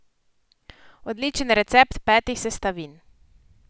Odličen recept petih sestavin!